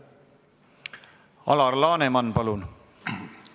Alar Laneman, palun!